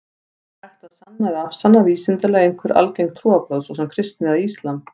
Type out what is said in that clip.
Er hægt að sanna eða afsanna vísindalega einhver algeng trúarbrögð, svo sem kristni eða islam?